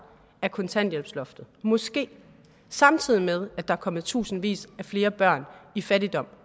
af kontanthjælpsloftet måske samtidig med at der er kommet tusindvis af flere børn i fattigdom